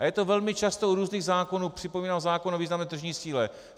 A je to velmi často u různých zákonů, připomínám zákon o významné tržní síle.